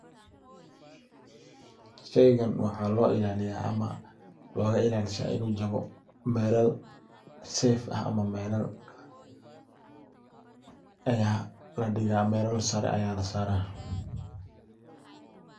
Shaygan waxaa loo ilaaliya ama loga ilalsha inu jabo melal safe ah ama melal aya ladiga melal sare aya lasara.